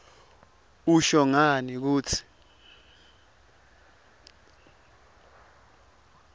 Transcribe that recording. usho ngani kutsi